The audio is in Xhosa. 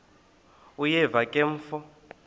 uyeva ke mfo